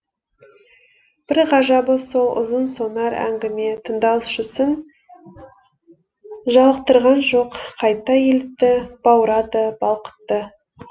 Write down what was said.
бір ғажабы сол ұзын сонар әңгіме тыңдаушысын жалықтырған жоқ қайта елітті баурады балқытты